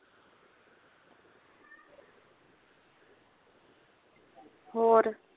ਹੋਰ